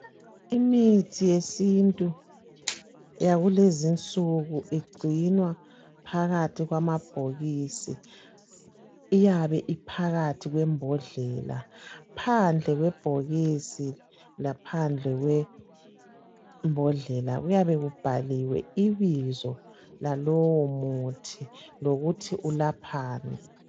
Imithi yesintu yakulezinsuku igcinwa phakathi kwamabhokisi iyabe iphakathi kwembhondlela phandle kwebhokisi laphandle kwembodlela kuyabe kubhaliwe ibizo lalowomuthi lokuthi ulaphani.